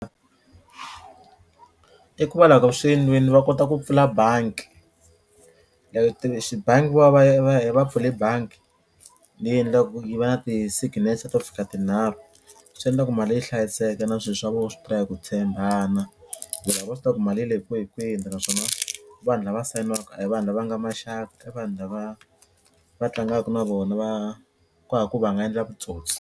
I ku va swi endliwini va kota ku pfula banki loko ti bangi va va ya va ya va pfule banki leyi endliwaku ku yi va na ti-signature to fika tinharhu swi endla ku mali yi hlayiseka na swilo swa vona swi hi ku tshembana ku lava vo swi tiva ku mali yi le kwihikwini naswona vanhu lava sayinaka a hi vanhu lava nga maxaka i vanhu lava va tlangaka na vona ku hava ku va nga endla vutsotsi.